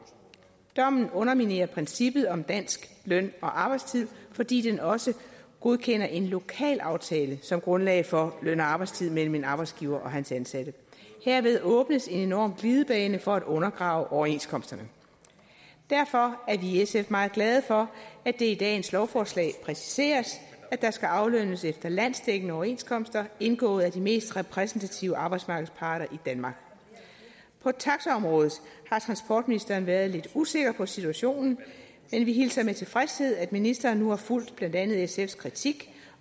dommen underminerer princippet om dansk løn og arbejdstid fordi den også godkender en lokalaftale som grundlag for løn og arbejdstid mellem en arbejdsgiver og hans ansatte herved åbnes en enorm glidebane for at undergrave overenskomsterne derfor er vi i sf meget glade for at det i dagens lovforslag præciseres at der skal aflønnes efter landsdækkende overenskomster indgået af de mest repræsentative arbejdsmarkedsparter i danmark på taxaområdet har transportministeren været lidt usikker på situationen men vi hilser med tilfredshed at ministeren nu har fulgt blandt andet sfs kritik